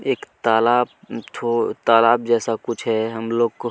एक तालाब एक ठो तलाब जैसा कुछ है हम लोग को --